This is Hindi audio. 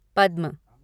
पद्म